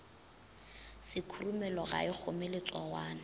sekhurumelo ga e kgome letsogwana